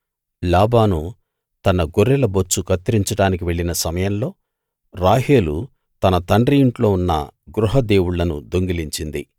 లాబాను తన గొర్రెల బొచ్చు కత్తిరించడానికి వెళ్ళిన సమయంలో రాహేలు తన తండ్రి ఇంట్లో ఉన్న గృహ దేవుళ్ళను దొంగిలించింది